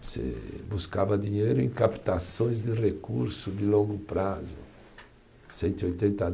Você buscava dinheiro em captações de recurso de longo prazo. Cento e oitenta